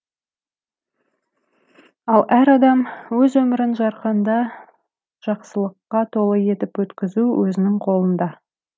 ал әр адам өз өмірін жарқында жақсылыққа толы етіп өткізу өзінің қолында